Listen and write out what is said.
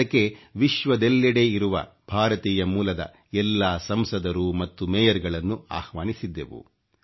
ಅದಕ್ಕೆ ವಿಶ್ವದೆಲ್ಲೆಡೆ ಇರುವ ಭಾರತೀಯ ಮೂಲದ ಎಲ್ಲಾ ಸಂಸದರು ಮತ್ತು ಮೇಯರ್ ಗಳನ್ನು ಆಹ್ವಾನಿಸಿದ್ದೆವು